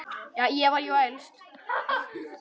Ég var jú elst.